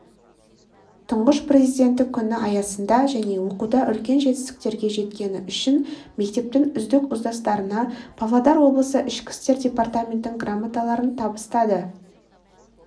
тұңғыш президенті күні аясында және оқуда үлкен жетістіктерге жеткені үшін мектептің үздік ұстаздарына павлодар облысы ішкі істер департаментінің грамоталарын табыстады